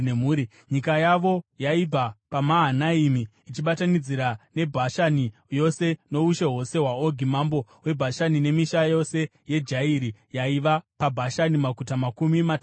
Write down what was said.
Nyika yavo yaibva paMahanaimi, ichibatanidzira neBhashani yose, noushe hwose hwaOgi mambo weBhashani nemisha yose yeJairi, yaiva paBhashani, maguta makumi matanhatu;